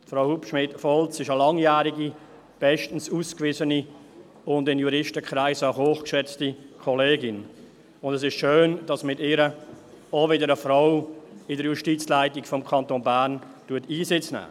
Sie ist eine langjährige, bestens ausgewiesene und in Juristenkreisen hoch geschätzte Kollegin, und es ist schön, dass mit ihr auch wieder eine Frau in der Justizleitung des Kantons Bern Einsitz nimmt.